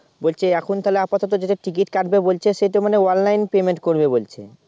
বলছে এখন তাহলে আপাতত যেটা Ticket কাটবে বলছে সেটা মানে Online Payment করবে বলছে।